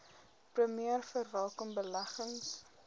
premier verwelkom beleggings